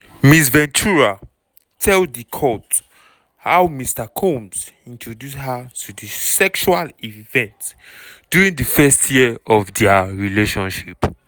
ms ventura tell di court how mr combs introduce her to di sexual events during di first year of dia relationship.